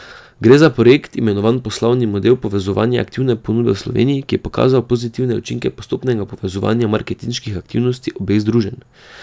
Gre za projekt, imenovan Poslovni model povezovanja aktivne ponudbe v Sloveniji, ki je pokazal pozitivne učinke postopnega povezovanja marketinških aktivnosti obeh združenj.